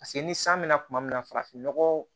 Paseke ni san bɛ na kuma min na farafin nɔgɔ